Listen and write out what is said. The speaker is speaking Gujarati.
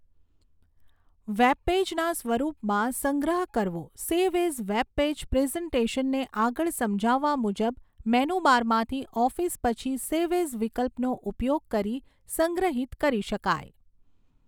વેબપેજના સ્વરૂપમાં સંગ્રહ કરવો સેવ ઍઝ વેબપેજ પ્રેઝન્ટેશનને આગળ સમજાવવા મુજબ મેનુબારમાંથી ઓફિસ પછી સેવ ઍઝ વિકલ્પનો ઉપયોગ કરી સંગ્રહિત કરી શકાય.